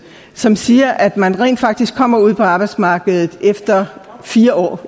som siger at man rent faktisk kommer ud på arbejdsmarkedet efter fire år